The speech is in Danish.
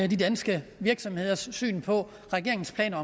de danske virksomheders syn på regeringens planer